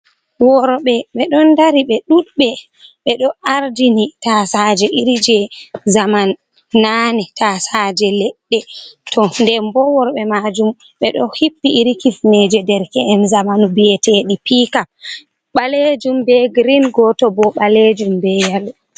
Worɓe be don dari be ɗuɗɓe be do ardini tasaje iri je zaman nane, tasaje ledde to den bo worbe majum be do hippi iri kifneje der ke’en zamanu biyetedi pika ɓalejum be green goto bo balejum be yelo.